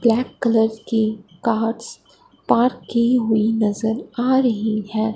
Black colour की cars park की हुई नजर आ रही है।